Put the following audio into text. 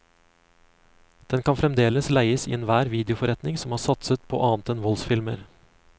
Den kan fremdeles leies i enhver videoforretning som har satset på annet enn voldsfilmer.